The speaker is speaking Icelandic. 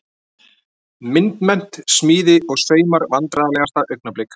Myndmennt, smíði og saumar Vandræðalegasta augnablik?